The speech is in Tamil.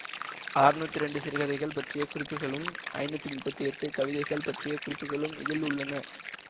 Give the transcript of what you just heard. அறுநூற்றி இரண்டு சிறுகதைகள் பற்றிய குறிப்புகளும் ஐநூற்றி முப்பத்தி எட்டு கவிதைகள் பற்றிய குறிப்புகளும் இதில் உள்ளன